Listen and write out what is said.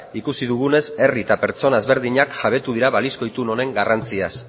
ikusi dugunez herri eta pertsona ezberdinak jabetu dira balizko itun honen garrantziaz